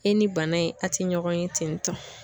E ni bana in a ti ɲɔgɔn ye tentɔ.